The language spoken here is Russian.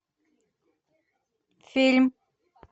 фильм